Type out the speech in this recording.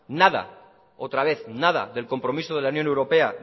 nada otra vez del compromiso de la unión europea